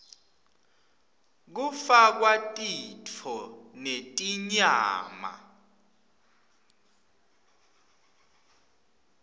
kufakwa titfo netinyama